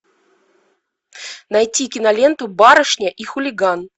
найти киноленту барышня и хулиган